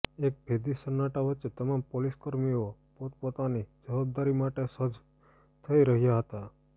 એક ભેદી સન્નાટા વચ્ચે તમામ પોલીસકર્મીઓ પોતપોતાની જવાબદારી માટે સજ્જ થઇ રહ્યાં હતા